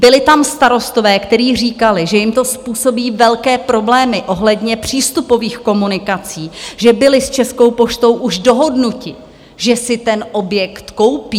Byli tam starostové, kteří říkali, že jim to způsobí velké problémy ohledně přístupových komunikací, že byli s Českou poštou už dohodnuti, že si ten objekt koupí.